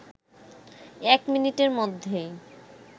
১ মিনিটের মধ্যেই